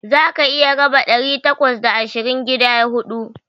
Zaka iya raba ɗari takwas da ashirin gida huɗu.